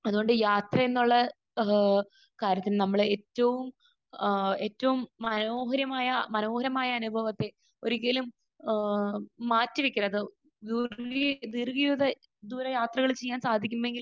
അതുകൊണ്ട് യാത്രയെന്നുള്ള ഏഹ് കാര്യത്തിന് നമ്മൾ ഏറ്റവും ഏഹ് ഏറ്റവും മനോഹരമായ മനോഹരമായ അനുഭവത്തെ ഒരിക്കലും ഏഹ് മാറ്റി വെക്കരുത്. അത് ഇതുപോലെ യാത്രകൾ ചെയ്യാൻ സാധിക്കുമെങ്കിൽ